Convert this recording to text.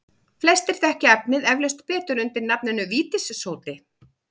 Flestir þekkja efnið eflaust betur undir nafninu vítissódi.